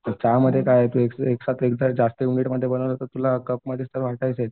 चहामध्ये काय आहे की एकदा जास्तमध्ये बनवला तर तुला कपमध्येच तर आहेत.